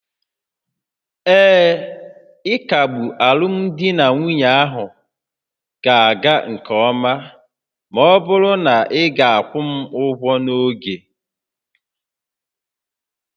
Ee, ịkagbu alụmdi na nwunye ahụ ga-aga nke ọma ma ọ bụrụ na ị ga-akwụ m ụgwọ n'oge